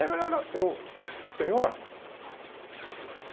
Ele me olhou eu... Senhor?